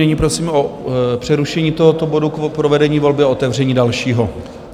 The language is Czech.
Nyní prosím o přerušení tohoto bodu k provedení volby a otevření dalšího.